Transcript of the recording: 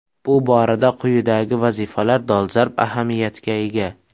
Bu borada quyidagi vazifalar dolzarb ahamiyatga ega.